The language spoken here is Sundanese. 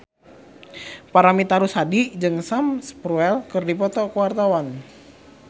Paramitha Rusady jeung Sam Spruell keur dipoto ku wartawan